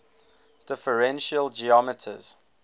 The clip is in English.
differential geometers